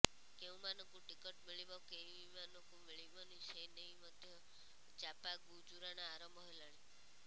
କେଉଂମାନଙ୍କୁ ticket ମଳିବ କେଇଁମାନଙ୍କୁ ମିଳିବନି ସେନେଇ ମଧ୍ୟ ଚାପାଗୁଜୁରାଣ ଆରମ୍ଭ ହେଲାଣି